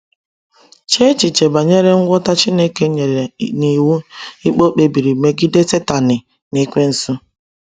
Chee echiche banyere ngwọta Chineke nyere n’iwu ikpe ọ kpebiri megide Satani bụ Ekwensu.